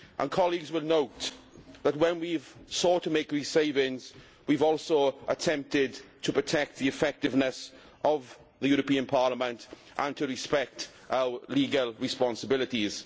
Colleagues will note that when we have sought to make savings we have also attempted to protect the effectiveness of the European Parliament and to respect our legal responsibilities.